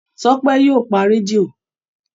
Tọ́pẹ́ yóò pa rédíò.